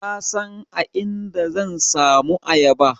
Ka san a inda zan samu ayaba?